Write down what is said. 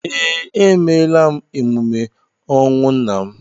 Ee, emeela m emume ọnwụ nna m